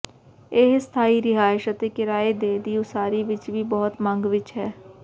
ਇਹ ਸਥਾਈ ਰਿਹਾਇਸ਼ ਅਤੇ ਕਿਰਾਏ ਦੇ ਦੀ ਉਸਾਰੀ ਵਿੱਚ ਵੀ ਬਹੁਤ ਮੰਗ ਵਿੱਚ ਹੈ